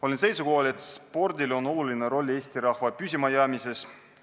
Olen seisukohal, et spordil on oluline roll Eesti rahva püsimajäämises.